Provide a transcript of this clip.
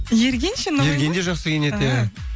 ерген ше ерген де жақсы киінеді иә